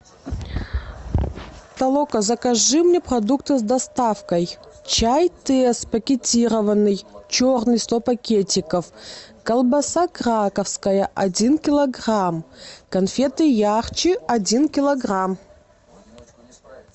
толока закажи мне продукты с доставкой чай тесс пакетированный черный сто пакетиков колбаса краковская один килограмм конфеты ярче один килограмм